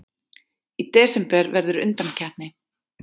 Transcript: Í desember verður undankeppni.